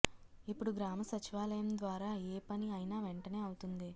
ఇప్పుడు గ్రామ సచివాలయం ద్వారా ఏ పని అయినా వెంటనే అవుతుంది